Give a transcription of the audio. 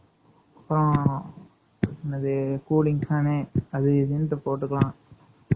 அப்புறம், என்னது cooling fan . அது இதுன்னுட்டு போட்டுக்கலாம்